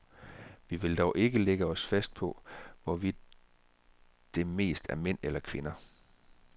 Vi vil dog ikke lægge os fast på, hvorvidt det mest er mænd eller kvinder.